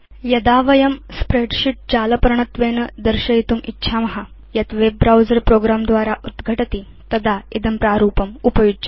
यदा वयं स्प्रेडशीट् जालपर्णत्वेन दर्शयितुम् इच्छाम यत् वेब ब्राउजर प्रोग्रं द्वारा उद्घटति तदा इदं प्रारूपमुपयुज्यते